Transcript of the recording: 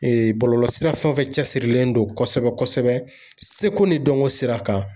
bɔlɔlɔ sira fɛn fɛn cɛsirilen don kosɛbɛ kosɛbɛ seko ni dɔnko sira kan